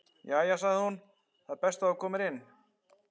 Jæja sagði hún, það er best þú komir inn.